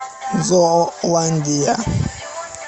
зооландия